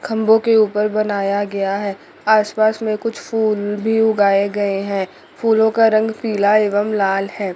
खम्बो के ऊपर बनाया गया है आसपास में कुछ फूल भी उगाए गए हैं फूलों का रंग पीला एवं लाल है।